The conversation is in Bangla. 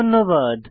ধন্যবাদ